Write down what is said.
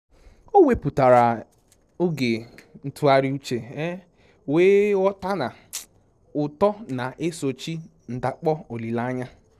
O wepụtara oge ntụgharị uche, wee ghọta na uto na-esochi ndakpọ olileanya